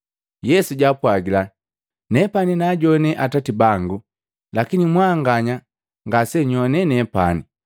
Yesu jaapwagila, “Nepani naajowane Atati bangu.” Lakini mwanganya ngasenyoane nepani.